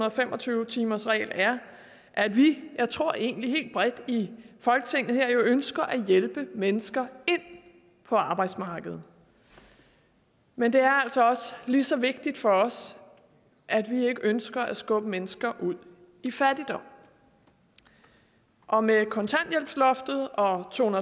og fem og tyve timersreglen er at vi jeg tror egentlig helt bredt her i folketinget ønsker at hjælpe mennesker ind på arbejdsmarkedet men det er altså lige så vigtigt for os at vi ikke ønsker at skubbe mennesker ud i fattigdom og med kontanthjælpsloftet og to